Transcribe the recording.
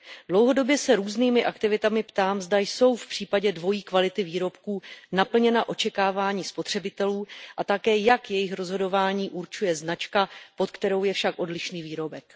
Dlouhodobě se různými aktivitami ptám, zda jsou v případě dvojí kvality výrobků naplněna očekávání spotřebitelů, a také, jak jejich rozhodování určuje značka, pod kterou je však odlišný výrobek.